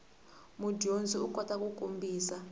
mudyondzi u kota ku kombisa